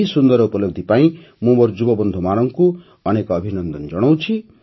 ଏହି ସୁନ୍ଦର ଉପଲବ୍ଧି ପାଇଁ ମୁଁ ମୋର ଯୁବବନ୍ଧୁମାନଙ୍କୁ ଅନେକ ଅଭିନନ୍ଦନ ଜଣାଉଛି